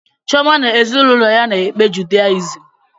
Chioma na ezinụlọ ya na-ekpe judayizịm